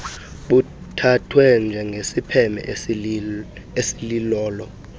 buthathwe njengesiphene esilolo